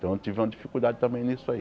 Então eu tive uma dificuldade também nisso aí.